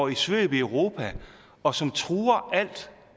i svøb i europa og som truer alt